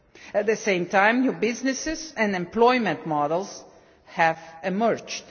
At the same time, new businesses and employment models have emerged